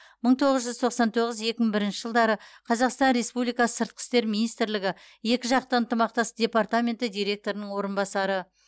мың тоғыз жүз тоқсан тоғыз екі мың бірінші жылдары қазақстан республикасы сыртқы істер министрлігі екіжақты ынтымақтастық департаменті директорының орынбасары